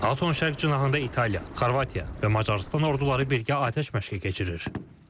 NATO-nun şərq cinahında İtaliya, Xorvatiya və Macarıstan orduları birgə atəş məşqi keçirir.